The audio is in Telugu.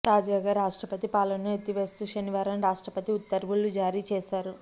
తాజాగా రాష్ట్రపతి పాలనను ఎత్తివేస్తూ శనివారం రాష్ట్రపతి ఉత్తర్వులు జారీ చేశారు